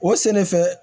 O sɛnɛfɛn